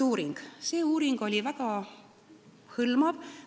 Uuring EAKAS oli väga hõlmav.